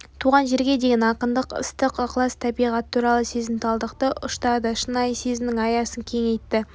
туған жерге деген ақындық ыстық ықылас табиғат туралы сезімталдықты ұштады шынайы сезімнің аясын кеңейтті